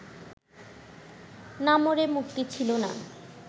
না মরে মুক্তি ছিল না